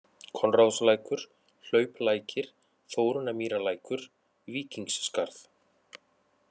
Konráðslækur, Hlauplækir, Þórunnarmýrarlækur, Víkingsskarð